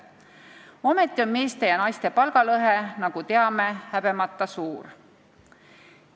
Ometi on meeste ja naiste palgalõhe, nagu teame, häbemata suur.